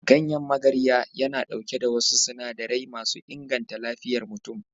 Ganyen magarya yana ɗauke da wasu sinadarai masu inganta lafiyar mutum.